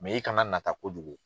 i kana nata kojugu.